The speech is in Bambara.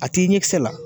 A t'i ɲɛkisɛ la